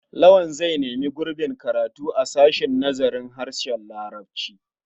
Lawal zai nemi gurbin karatu a sashen nazarin harshen larabci.